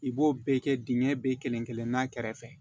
I b'o bɛɛ kɛ dingɛ bɛ kelen kelenna a kɛrɛfɛ